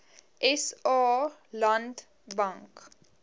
sa land bank